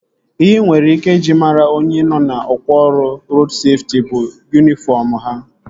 Ihe ị nwere ike iji mara onye nọ na ọkwá ọrụ rodu seftị bụ yunifọm ha